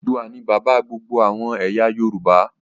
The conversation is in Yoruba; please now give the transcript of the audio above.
Odùduwà ni bàbá gbogbo àwọn ẹ̀yà Yorùbá.